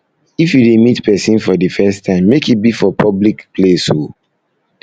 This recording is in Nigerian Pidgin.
if you dey meet pesin for de first time make e be for public be for public place oo